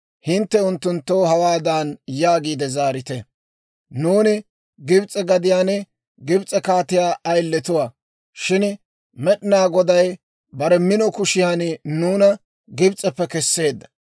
hintte unttunttoo hawaadan yaagiide zaarite; ‹Nuuni Gibs'e gadiyaan Gibs'e kaatiyaa ayiletuwaa; shin Med'inaa Goday bare mino kushiyan nuuna Gibs'eppe kesseedda.